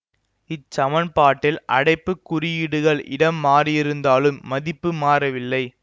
இச் சமன்பாட்டில் அடைப்புக் குறியீடுகள் இடம் மாறியிருந்தாலும் மதிப்பு மாறவில்லை